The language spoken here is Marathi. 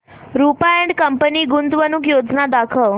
रुपा अँड कंपनी गुंतवणूक योजना दाखव